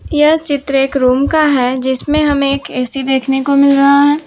यह चित्र एक रूम का है जिसमें हमें एक ए_सी देखने को मिल रहा है।